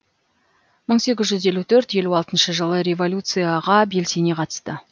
мың сегіз жүз елу төрт елу алтыншы жылы революцияға белсене қатысты